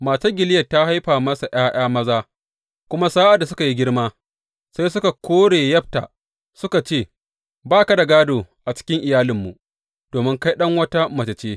Matar Gileyad ta haifa masa ’ya’ya maza, kuma sa’ad da suka yi girma, sai suka kore Yefta, suka ce Ba ka da gādo a cikin iyalinmu, domin kai ɗan wata mace ce.